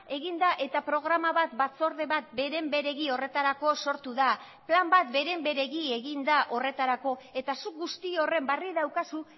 egin da eta programa bat batzorde bat beren beregi horretarako sortu da plan bat beren beregi egin da horretarako eta zuk guzti horren berri daukazu